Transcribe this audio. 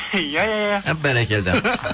иә иә иә әп бәрекелді